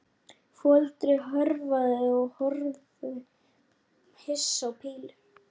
Sekk ég einsog ekkert.